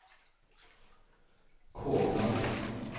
Kovland